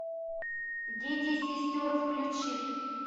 дети сестер включи